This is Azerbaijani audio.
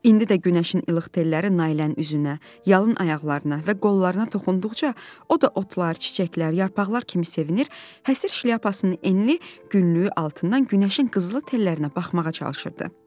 İndi də günəşin ilıq telləri Nailənin üzünə, yalın ayaqlarına və qollarına toxunduqca, o da otlar, çiçəklər, yarpaqlar kimi sevinər, həsır şlyapasının enli günlüyü altından günəşin qızılı tellərinə baxmağa çalışırdı.